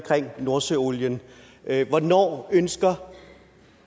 nordsøolien hvornår ønsker